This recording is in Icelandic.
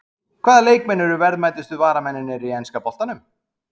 Hvaða leikmenn eru verðmætustu varamennirnir í enska boltanum?